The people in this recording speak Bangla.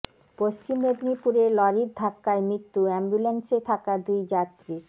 পশ্চিম মেদিনীপুরে লরির ধাক্কায় মৃত্যু অ্যাম্বুল্যান্সে থাকা দুই যাত্রীর